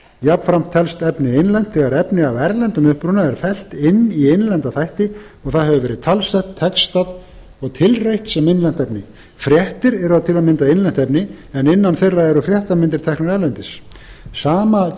jafnframt telst efni innlent þegar efni af erlendum uppruna er fellt inn í innlenda þætti og það hefur verið talsett textað og tilreitt sem innlent efni fréttir eru til að mynda innlent efni en innan þeirra eru fréttamyndir teknar erlendis sama